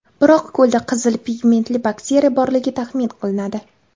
Biroq ko‘lda qizil pigmentli bakteriya borligi taxmin qilinadi.